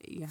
ya.